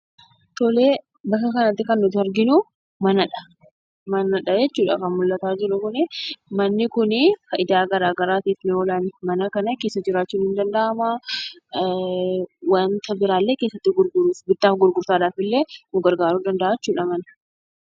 Bakka kanatti kan nuti arginu Manadha. manni kunii faayidaa garaagaraatiif ni oola. Mana kana keessa jiraachuun in danda'ama. wanta birallee keessatti gurguruuf, butaaf gurgurtaafillee nu gargaaru ni danda'a.